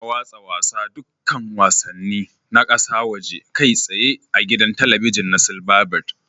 Ana watsa dukkan wasannin na kasa woje kai tsaye a gidan talabijin na silverbird